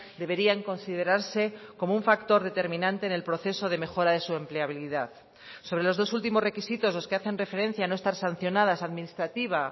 deberían considerarse como un factor determinante en el proceso de mejora de su empleabilidad sobre los dos últimos requisitos los que hacen referencia a no estar sancionadas administrativa